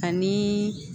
Ani